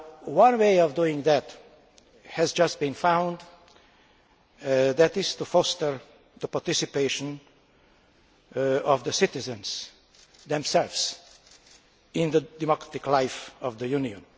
One way of doing that has just been found, and that is to foster the participation of the citizens themselves in the democratic life of the Union.